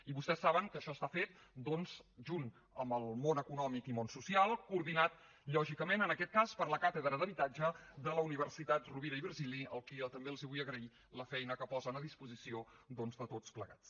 i vostès saben que això està fet doncs junt amb el món econòmic i món social coordinat lògicament en aquest cas per la càtedra d’habitatge de la universitat rovira i virgili a qui també els vull agrair la feina que posen a disposició doncs de tots plegats